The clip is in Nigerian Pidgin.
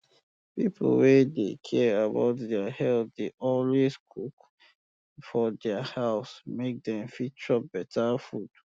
pipu wey dey care about deir health dey always um cook for deir house make dem fit chop better food